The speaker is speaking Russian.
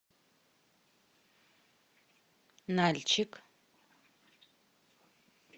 нальчик